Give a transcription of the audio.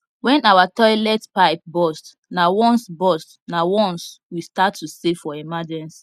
when our toilet pipe burst nah once burst nah once we start to save for emergency